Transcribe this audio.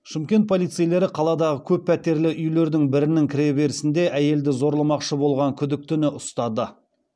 шымкент полицейлері қаладағы көппәтерлі үйлердің бірінің кіреберісінде әйелді зорламақшы болған күдіктіні ұстады